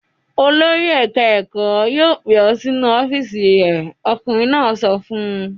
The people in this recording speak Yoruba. "Olórí ẹ̀ka-ẹ̀kọ́ yóò pè ọ́ sínú ọ́fíísì rẹ̀!" Ọkùnrin náà sọ fún un.